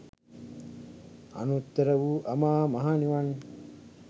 අනුත්තර වූ අමා මහ නිවන්